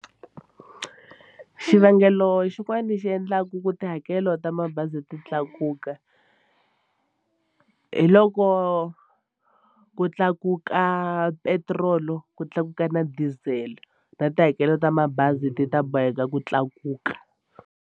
Xivangelo xin'wani xi endlaku ku tihakelo ta mabazi ti tlakuka hi loko ku tlakuka petiroli ku tlakuka na diesel na tihakelo ta mabazi ti ta boheka ku tlakuka.